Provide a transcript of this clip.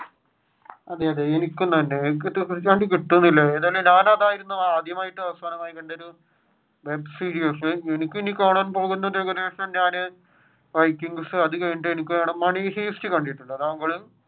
അതെ അതെ ആദ്യാമായിട്ടും അവസാനമായിട്ടും കണ്ട ഒരു web series ഞാൻ വൈകിങ്‌സ്‌ അത് കഴിഞ്ഞിട്ട് money heist കണ്ടിട്ടുണ്ടോ താങ്കൾ